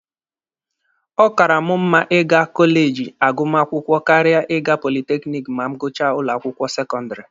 Ọ kaara mụ mma ịga kọleji agụmakwụkwọ karịa ịga politekiniki ma m gụchaa ụlọ akwụkwọ sekọndịrị.